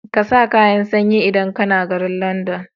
ƙasa kayan sanyi idan kAna garin London